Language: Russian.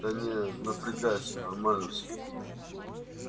да не напрягайся нормально всё